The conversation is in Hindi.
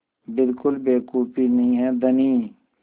बिल्कुल बेवकूफ़ी नहीं है धनी